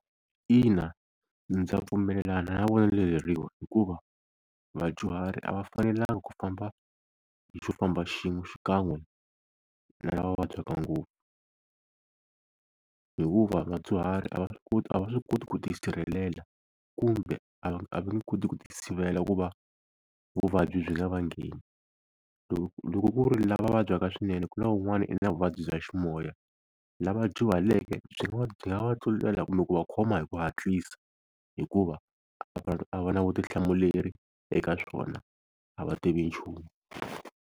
Ina ndza pfumelelana na vonelo leriwa hikuva vadyuhari a va fanelanga ku famba hi xofamba xin'we xikan'we na lava vabyaka ngopfu hikuva vadyuhari a va swi koti a va swi koti ku ti sirhelela kumbe a va a va nge koti ku ti sivela ku va vuvabyi byi nga va ngheni loko loko ku ri lava vabyaka swinene ku na wun'wani u na vuvabyi bya ximoya lava dyuhaleke byi va byi nga va tlulela kumbe ku va khoma hi ku hatlisa hikuva a va na vutihlamuleri eka swona a va tivi nchumu.